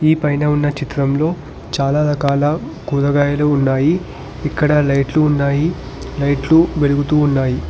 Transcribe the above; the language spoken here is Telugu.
ఈ పైన ఉన్న చిత్రంలో చాలా రకాల కూరగాయలు ఉన్నాయి ఇక్కడ లైట్లు ఉన్నాయి లైట్లు వెలుగుతున్నాయి.